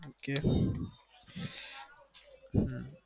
Okay હમ